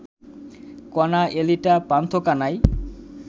Kona, Elita, Pantha Kanai